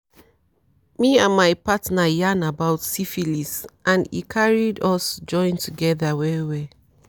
me and my partner yarn about syphilis and and e carried us join together well well